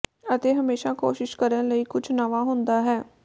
ਅਤੇ ਹਮੇਸ਼ਾ ਕੋਸ਼ਿਸ਼ ਕਰਨ ਲਈ ਕੁਝ ਨਵਾਂ ਹੁੰਦਾ ਹੈ